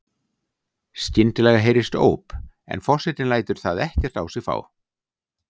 Skyndilega heyrist óp en forsetinn lætur það ekkert á sig fá.